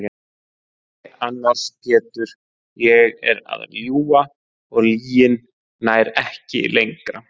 Nei annars Pétur ég er að ljúga og lygin nær ekki lengra.